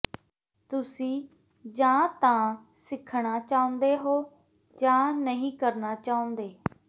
ਤੁਸੀਂ ਜਾਂ ਤਾਂ ਸਿੱਖਣਾ ਚਾਹੁੰਦੇ ਹੋ ਜਾਂ ਨਹੀਂ ਕਰਨਾ ਚਾਹੁੰਦੇ